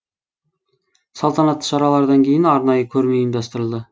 салтанатты шаралардан кейін арнайы көрме ұйымдастырылды